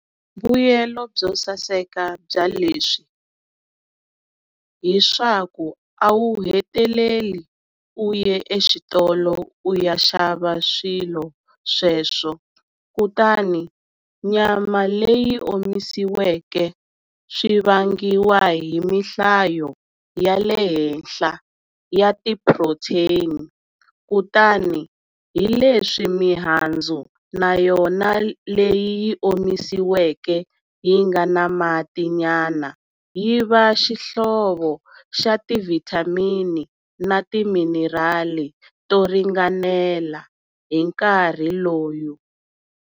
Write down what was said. Mbuyelo byo saseka bya leswi hi swaku a wu heteleli u ye exitolo u ya xava swilo sweswo, kutani nyama leyi omisiweke swi vangiwa hi tihlayo ta le henhla ya ti-phurothyeni, kutani hi leswi mihandzu na yona leyi yi omisiweke yi nga na mati nyana yi va xihlovo xa ti-vitamin ts na timinerali to ringanela hinkarhi lowu.